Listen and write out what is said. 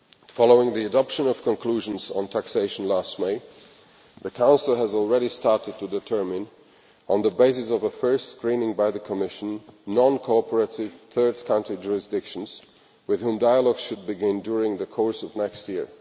Following the adoption of conclusions on taxation last May, the Council has already started to determine, on the basis of a first screening by the Commission, non cooperative third country jurisdictions with which dialogues should begin during the course of next year.